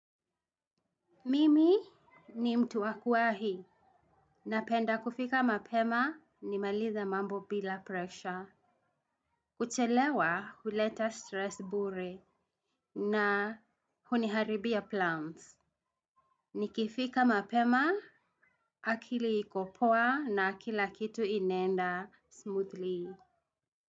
Mimi ni mtu wa kuahi na penda kufika mapema ni malize mambo bila pressure. Kuchelewa huleta stress bure na huniharibia plants. Nikifika mapema akili ikopoa na kilakitu inaenda smoothly.